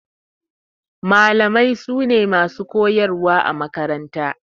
Malamai su ne masu koyarwa a makaranta.